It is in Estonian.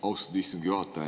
Austatud istungi juhataja!